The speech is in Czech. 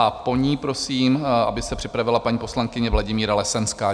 A po ní prosím, aby se připravila paní poslankyně Vladimíra Lesenská.